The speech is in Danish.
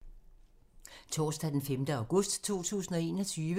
Torsdag d. 5. august 2021